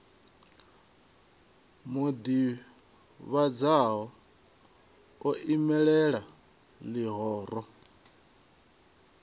u ḓivhonadza o imelela ḽihoro